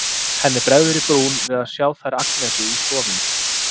Henni bregður í brún við að sjá þær Agnesi í stofunni.